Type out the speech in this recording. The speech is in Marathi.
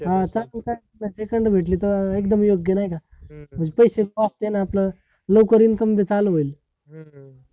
second भेटली तर एकदम योग्य, नाय का? नुसत असल्या नंतर लवकर येऊन समजा चालू होईल